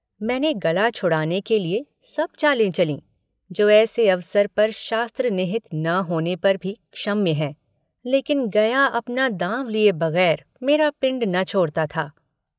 मैंने गला छुड़ाने के लिए सब चालें चलीं जो ऐसे अवसर पर शास्त्रविहित न होने पर भी क्षम्य हैं लेकिन गया अपना दाँव लिए बगैर मेरा पिण्ड न छोड़ता था।